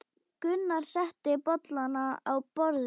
Gunnar setti bollana á borðið.